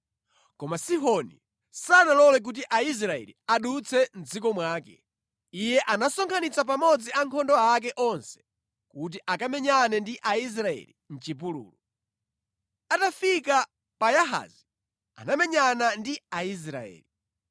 Koma Sihoni sanalole kuti Aisraeli adutse mʼdziko mwake. Iye anasonkhanitsa pamodzi ankhondo ake onse kuti akamenyane ndi Aisraeli mʼchipululu. Atafika pa Yahazi anamenyana ndi Aisraeli.